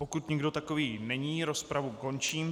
Pokud nikdo takový není, rozpravu končím.